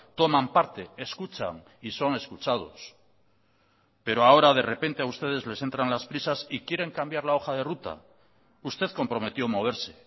toman parte escuchan y son escuchados pero ahora de repente a ustedes les entran las prisas y quieren cambiar la hoja de ruta usted comprometió moverse